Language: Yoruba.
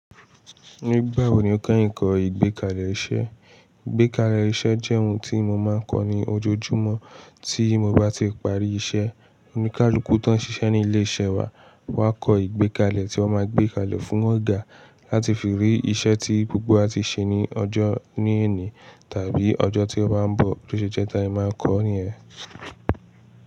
Nígbà wo ni o kẹ́yin kọ́ ìgbékalẹ̀ iṣẹ́? Ìgbékalẹ̀ iṣẹ́ jẹ́ ohun tí mo máa ń kọ ní ojoojúmọ́ tí mo bá ti parí iṣẹ́. Oníkálukú tó ń ṣiṣẹ́ ní ilé iṣẹ́ wa máa kọ ìgbékalẹ̀ tí wọn máa gbé kalẹ̀ fún ọ̀gá láti fi rí iṣẹ́ tí gbogbo wa ti ṣe ní ọjọ́ ní ẹ̀ní, tàbí ọjọ́ tí ó bá ń bọ̀, bó ṣe jẹ́ táyé máa ń kọ ní yèn.